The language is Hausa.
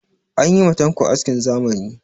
An yi ma tanko askin zamani.